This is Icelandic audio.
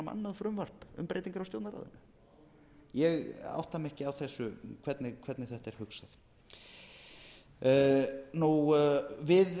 frumvarp um breytingar á stjórnarráðinu ég átta mig ekki á hvernig þetta er hugsað við